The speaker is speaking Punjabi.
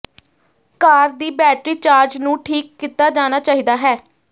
ਕਾਰ ਦੀ ਬੈਟਰੀ ਚਾਰਜ ਨੂੰ ਠੀਕ ਕੀਤਾ ਜਾਣਾ ਚਾਹੀਦਾ ਹੈ